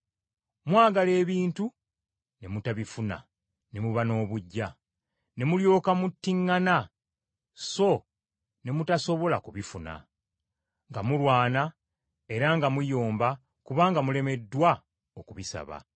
Mwagala ebintu ne mutabifuna ne muba n’obuggya, ne mulyoka muttiŋŋana so ne mutasobola kubifuna, nga mulwana era nga muyomba kubanga mulemeddwa okubisaba.